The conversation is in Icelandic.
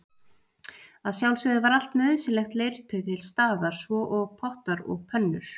Að sjálfsögðu var allt nauðsynlegt leirtau til staðar svo og pottar og pönnur.